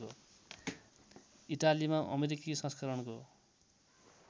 इटालीमा अमेरिकी संस्करणको